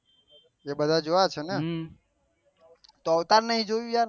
એ બધા જોયા હશે તો અવતાર નહી જોયું યાર